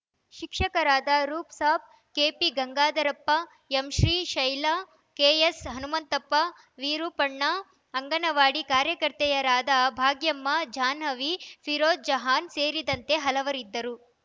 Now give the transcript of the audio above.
ಶಿಕ್ಷಕರಾದ Roop Sab KP Gangadharappa ಎಂಶ್ರೀಶೈಲ KS Hanumanthappa Virupanna anganwadi ಕಾರ್ಯಕರ್ತೆಯರಾದ Bhagyamma Jahnavi Firoz Jahan ಸೇರಿದಂತೆ ಹಲವರಿದ್ದರು